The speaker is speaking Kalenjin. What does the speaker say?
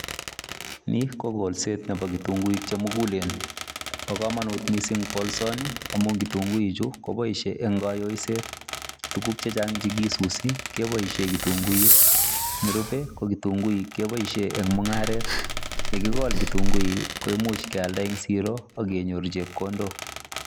Ni kolset Nebo kitunguik chemugulenb bakamanut mising kolsoni amun kitunguik Chu kobaishe are kaiyoiset tugug chechang chekesusin kebaishen kitunguik nerube ko kitunguik kebaishen en mungaret yekikol kitunguik koimuche keyalen siro ak kenyor chepkondok